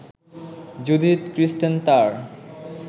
Judith Christen তার